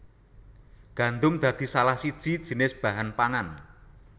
Gandum dadi salah siji jinis bahan pangan